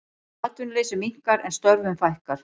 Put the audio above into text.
Atvinnuleysi minnkar en störfum fækkar